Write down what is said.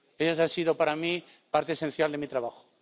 Ellas han sido para mí parte esencial de mi trabajo.